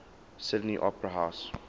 sydney opera house